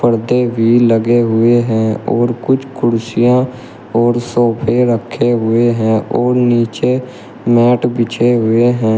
पर्दे भी लगे हुए हैं और कुछ कुर्सियां और सोफे रखे हुए हैं और नीचे मैट बिछे हुए हैं।